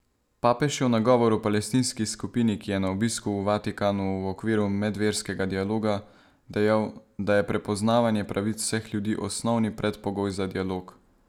Papež je v nagovoru palestinski skupini, ki je na obisku v Vatikanu v okviru medverskega dialoga, dejal, da je prepoznavanje pravic vseh ljudi osnovni predpogoj za dialog.